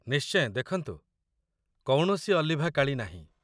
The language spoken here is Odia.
ନିଶ୍ଚୟ ଦେଖନ୍ତୁ, କୌଣସି ଅଲିଭା କାଳି ନାହିଁ